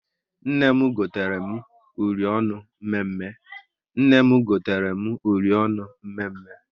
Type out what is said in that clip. Nne m gotere m uri ọnụ mme mme